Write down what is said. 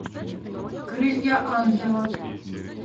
крылья ангела